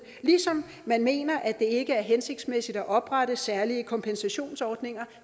ligesom man mener at det ikke er hensigtsmæssigt at oprette særlige kompensationsordninger